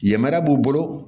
Yamariya b'u bolo